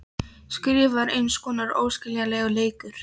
Stríðið var eins konar óskiljanlegur leikur.